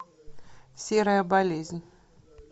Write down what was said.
серая болезнь